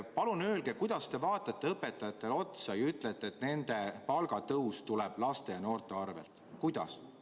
Palun öelge, kuidas te vaatate õpetajatele otsa ja ütlete, et nende palgatõus tuleb laste ja noorte arvelt?